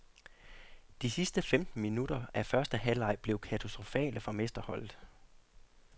De sidste femten minutter af første halvleg blev katastrofale for mesterholdet.